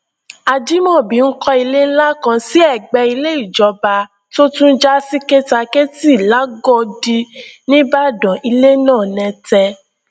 ajimobi ń kọ ilé ńlá kan sí ẹgbẹ ilé ìjọba tó tún já sí kèétakétì làgọdì nìbàdàn ilé náà nẹtẹ